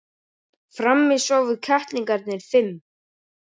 Frammi sváfu kettlingarnir fimm.